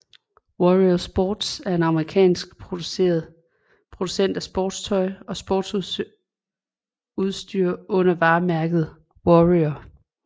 Warrior Sports er en amerikansk producent af sportstøj og sportsudstyr under varemærket Warrior